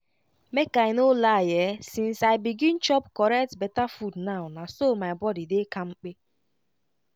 make i no lie[um]since i begin chop correct beta food now na so my body dey kampe